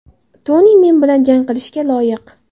Toni men bilan jang qilishga loyiq.